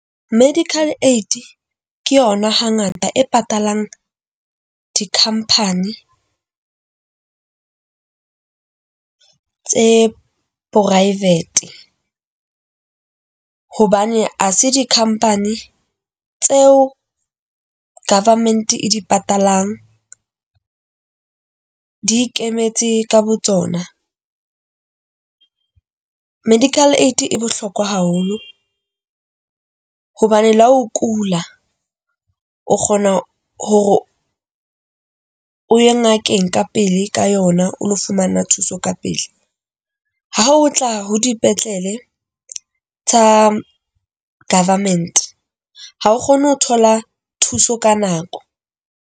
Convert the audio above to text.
Medical Aid ke yona ha ngata e patalang di-company tse private hobane ha se di-company tseo government e di patalang di ikemetse ka botsona. Medical Aid e bohlokwa haholo hobane le ha o kula o kgona hore o ye ngakeng ka pele ka yona, o lo fumana thuso ka pele. Ha o tla ho dipetlele tsa government ha o kgone ho thola thuso ka nako.